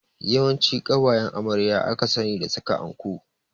Yawanci ƙawayen amarya aka sani da saka anko